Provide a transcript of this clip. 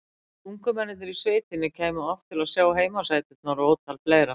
Hvort ungu mennirnir í sveitinni kæmu oft til að sjá heimasæturnar og ótal fleira.